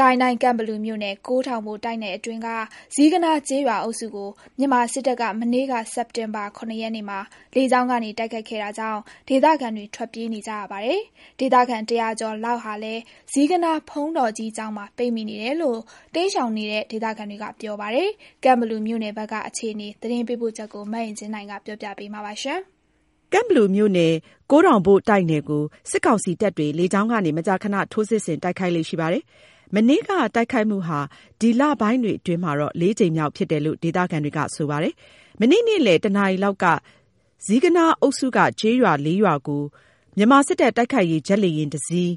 ကိုင်းတိုင်း ကန့်ဘလူမြို့နယ်၊ ကိုးထောင်ဘိုတိုက်နယ်အတွင်းက ဇီးကနား ကျေးရွာအုပ်စုကို မြန်မာစစ်တပ်က မနေ့က စက်တင်ဘာ ၇ ရက်မှာ လေကြောင်းကနေ တိုက်ခိုက်ခဲ့တာကြောင့် ဒေသခံတွေ ထွက်ပြေးနေကြရပြီး ဒေသခံ ၁၀၀ ကျော်လောက်လည်း ဇီးကနားဘုန်းတော်ကြီးကျောင်းမှာ ပိတ်မိနေတယ်လို့ တိမ်းရှောက်နေတဲ့ ဒေသခံတွေက ပြောပြပါတယ်။ ကန့်ဘလူမြို့နယ် အခြေအနေ သတင်းပေးပို့ချက်ကို မအင်ကြင်းနိုင်က တင်ပြပေးထားပါတယ်။ ကန့်ဘလူမြို့နယ် ကိုးထောင်ဘိုတိုက်နယ်ကို စစ်ကောင်စီတပ်တွေ လေကြောင်းကနေ မကြာခဏ ထိုးစစ်ဆင်တိုက်ခိုက်ေ့လရှိပါတယ်။ မနေ့က တိုက်ခိုက်မှုဟာ ဒီလပိုင်းတွေအတွင်း ၄ ကြိမ်မြောက်ဖြစ်တယ်လို့ ဒေသခံတွေက ပြောပါတယ်။ မနေ့က နေ့လယ် ၁ နာရီလောက် ဇီးကနားအုပ်စုက ကျေးရွာ ၄ ရွာကို မြန်မာစစ် တပ် တိုက်ခိုက်ရေး ဂျက်လေယာဉ်တစ်စီး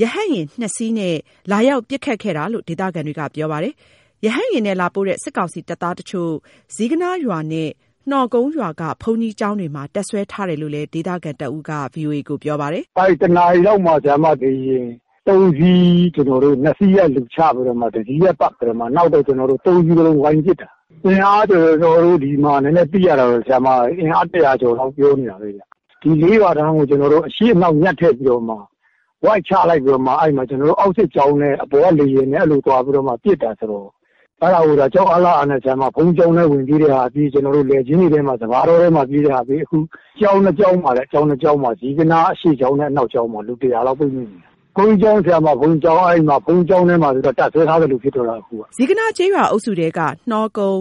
၊ ရဟတ်ယာဉ် ၂ စီးနဲ့ လာရောက် ပစ်ခတ်ခဲ့တာလို့ ဒေသခံတွေက ပြောပါတယ်။ ရဟတ်ယာဉ်နဲ့လာပို့တဲ့ စစ်ကောင်စီတပ်သားတချို့ ဇီးကနားရွာနဲ့ နှောကုန်းရွာက ဘုန်းကြီးကျောင်းတွေမှာ တပ်စွဲထားတယ်လို့လည်း ဒေသခံတဦးက ပြောပါတယ်။ “၁ နာရီလောက်မှာ လေယာဉ် ၃ စီးနဲ့ ၂ စီးက လူချပြီးတော့မှ တစီးက ပတ်ပစ်တာ။ နောက်တော့မှ ၃ စီးစလုံးက ပတ်ပစ်တာ။ သိရသလောက်ကတော့ ၁၀၀ ကျော်လောက်လို့ ပြောနေတာပဲဗျ။ ဒီ ၄ ရွာတန်းကို အရှေ့အနောက် ညှပ်ထည့်ပြီးတော့မှ ဝိုက်ချလိုက်ပြီးတော့မှ အဲ့မှာ အောက်စစ်ကြောင်းနဲ့ အပေါ်က လေယာဉ်နဲ့ ပေါင်းပစ်တာဆိုတော့.. အဲ့ဒီမှာ ကြောက်အားလန့်အားနဲ့ ဘုန်းကြီးကျောင်းထဲ ဝင်ပြေးတဲ့သူပြေး၊ လယ်ကွင်းထဲ စပါးတောထဲမှာ ပြေးပြီး ဝပ်တဲ့သူက ဝပ်နဲ့ပေါ။ အခုက ဇီးကနားကျောင်းနှစ်ကျောင်းမှာ အရှေ့ကျောင်းနဲ့ အနောက်ကျောင်းမှာ လူ ၁၀၀ လောက်ပိတ်မိနေတယ်။ ဘုန်းကြီးကျောင်းထဲမှာ တပ်စွဲထားသလိုဖြစ်တော့တာအခုက။” ဇီးကနားကျေးရွာအုပ်စုထဲက နှောကုန်း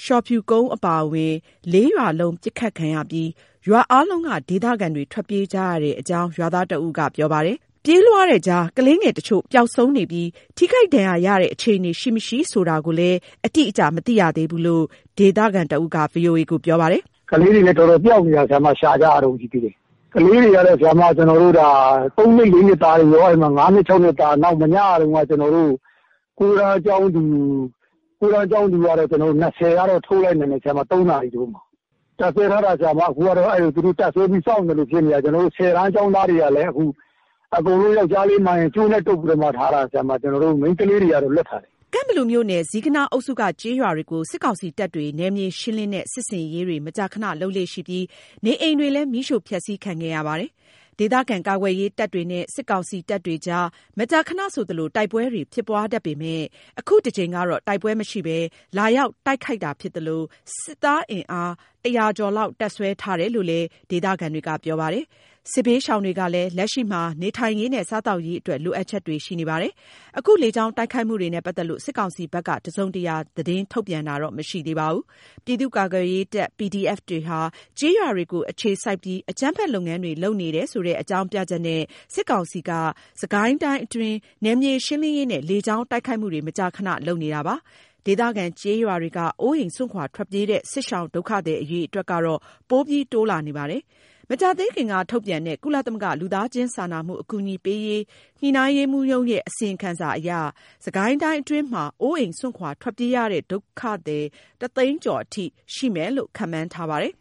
၊ လျှော်ဖြူကုန်းအပါအဝင် ၄ ရွာလုံး ပစ်ခတ်ခံရပြီး ရွားအားလုံးက ဒေသခံတွေ ထွက်ပြေးကြရတဲ့အကြောင်း ရွာသားတဦးက ပြောပါတယ်။ ပြေးလွှားတဲ့ကြား ကလေးငယ်တချို့ ပျောက်ဆုံးနေပြီး ထိခိုက်ဒဏ်ရာရတဲ့ အခြေအနေ ရှိမရှိဆိုတာကိေုတာ့ အတိအကျ မသိရသေးဘူးလို့ ဒေသခံတဦးက ပြောပါတယ်။ “ကလေးတွေလည်း တော်တော်ပျောက်နေတာ၊ ရှာကြရတုန်း ရှိသေးတယ်။ ကလေးတွေက ၃ နှစ် ၄ နှစ်သားတွေရော၊ ၅ နှစ် ၆ နှစ်သားတွေရော။ နောက် ၉ တန်းကျောင်းသူ ၂၀ လောက်ကိုတော့ ထုတ်နိုင်လိုက် တယ်။ ၃ နာရီလောက်မှာ။ သူတို့က တပ်စွဲပြီး စောင့်နေသလို ဖြစ်နေတာ၊ ၁၀ တန်းကျောင်းသားတွေကလည်း (၁၀ တန်း ကျောင်းသားအရွယ်) အခုသူတို့က ယောက်ျားလေးမှန်ရင်ကို အကုန်လုံး ကြိုးနဲ့တုပ်ပြီးမှ ထားတာဗျ အကုန်လုံး။ မိန်းကလေးတွေကတော့ လွှတ်ထားတယ်။” ကန့်ဘလူမြို့နယ်။ ဇီးကနား အုပ်စုက ကျေးရွာတွေကို စစ်ကောင်စီတပ်တွေ နယ်မြေရှင်းလင်းတဲ့ စစ်ဆင်ရေးတွေ မကြာခဏလုပ်လေ့ရှိပြီး နေအိမ်တွေလည်း မီးရှို့ဖျက်ဆီးခံခဲ့ရပါတယ်။ ဒေသခံကာကွယ်ရေးတပ်တွေနဲ့ စစ်ကောင်စီတပ်တွေအကြား မကြာခဏဆိုသလို တိုက်ပွဲတွေ ဖြစ်ပွားတတ်ပေမယ့် အခုတကြိမ်ကတော့ တိုက်ပွဲမရှိဘဲ လာရောက်တိုက်ခိုက်တာဖြစ်သလို စစ်သားအင်အား ၁၀၀ ကျော်လောက် တပ်စွဲထားတာလို့လည်း ဒေသခံတွေက ပြောပါတယ်။ စစ်ဘေးရှောင်တွေကလည်း လက်ရှိမှာ နေထိုင်ရေးနဲ့ စားသောက်ရေးအတွက် လိုအပ်ချက်တွေ ရှိနေကြပါတယ်။ အခု လေကြောင်းတိုက်ခိုက်မှုတွေနဲ့ ပတ်သက်လို့ စစ်ကောင်စီဘက်က တစုံတရာ သတင်းထုတ်ပြန်တာတော့ မရှိသေးပါဘူး။ ပြည်သူ့ကာကွယ်ရေးတပ် PDF တွေက ကျေးရွာတွေကိုအခြေစိုက်ပြီး အကြမ်းဖက် လုပ်ငန်းတွေ လုပ်နေတယ်ဆိုတဲ့အကြောင်းပြချက်နဲ့ စစ်ကောင်စီက စစ်ကိုင်းတိုင်းအတွင်း နယ်မြေရှင်းလင်းရေးနဲ့ လေကြောင်းတိုက်ခိုက်မှုတွေ မကြာခဏ လုပ်နေတာပါ။ ဒေသခံ ကျေးရွာတွေက အိုးအိမ်စွန့်ခွာထွက်ပြေးတဲ့ စစ်ရှောင်ဒုက္ခသည် အရေအတွက်ကတော့ ပိုပြီးတိုးလာနေပါတယ်။ မကြာသေးခင်ကထုတ်တဲ့ ကုလသမဂ္ဂ လူသားချင်းစာနာမှုအကူအညီပေးရေး ညှိနှိုင်းရေးမှူးရုံးရဲ့ အစီရင်ခံစာအရ စစ်ကိုင်းတိုင်းအတွင်းမှာ အိုးအိမ့်စွန့်ခွာထွက်ပြေးရတဲ့ ဒုက္ခသည် တသိန်းကျော်အထိ ရှိမယ်လို့ ခန့်မှန်းထားပါတယ်